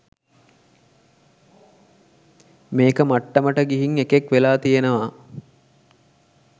මේක මට්ටමට ගිහින් එකෙක් වෙලා තියනවා.